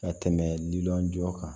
Ka tɛmɛ lilɔn jɔ kan